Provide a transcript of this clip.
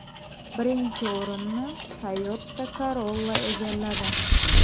Birinchi o‘rinni Toyota Corolla egalladi.